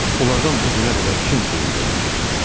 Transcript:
Onlardan bu günə qədər kim xeyir görüb ki?